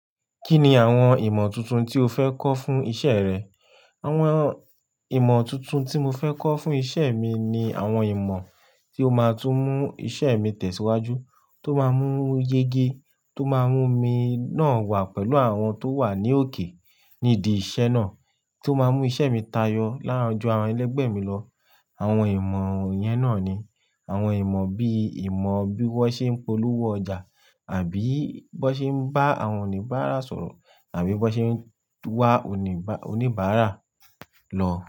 Kíni àwọn ìmọ̀ tuntun tí o fẹ́ kọ́ fún iṣẹ́ rẹ? Àwọn ìmọ̀ tuntun tí mo fẹ́ kọ́ fún iṣẹ́ mi ni àwọn ìmọ̀ tí ó máa tún mú iṣẹ́ mi tẹ̀síwájú, tó máa mú yege, tó máa mú mi náà wà pẹ̀lú àwọn tó wà ní òkè nídi iṣẹ́ náà, tó máa mú iṣẹ́ mi tayọ láwọn ju àwọn ẹlẹgbẹ́ mi lọ. Àwọn ìmọ̀ yẹn náà ni àwọn ìmọ̀ bíi ìmọ̀ bí wọ́n ṣe ń polówó ọjà àbí bi wọ́n ṣe ń bá àwọn oníbàárà sọ̀rọ̀ àbí bi wọ́n ṣe ń wá oníbàárà lọ.